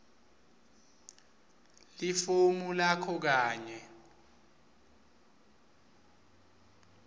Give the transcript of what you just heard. lifomu lakho kanye